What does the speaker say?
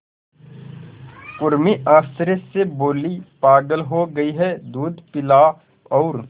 उर्मी आश्चर्य से बोली पागल हो गई है दूध पिला और